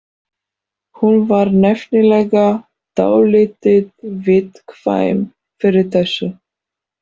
Hún var nefnilega dálítið viðkvæm fyrir þessu.